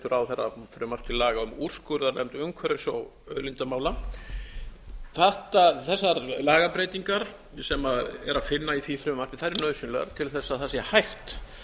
ráðherra frumvarp til laga um úrskurðarnefnd umhverfis og auðlindamála þessar lagabreytingar sem er að finna í því frumvarpi eru nauðsynlegar til að það sé hægt